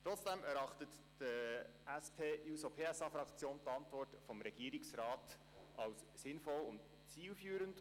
Trotzdem erachtet die SP-JUSO-PSAFraktion die Antwort des Regierungsrats als sinnvoll und zielführend.